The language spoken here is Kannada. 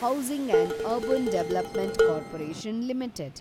housing and urban development corporation limited